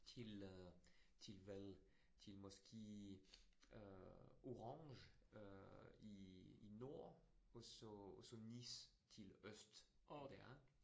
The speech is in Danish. Til øh til hvad til måske øh Orange øh i i nord, og så så Nice til øst der